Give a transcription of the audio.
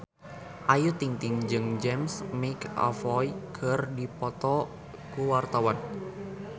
Ayu Ting-ting jeung James McAvoy keur dipoto ku wartawan